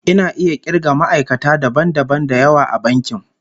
Ina iya kirga ma'aikata dabam dabam da yawa a bankin